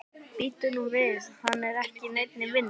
Bíddu nú við, hann er ekki í neinni vinnu?